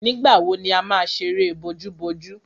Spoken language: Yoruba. Nígbà wo ni a má ṣeré bojúbojú?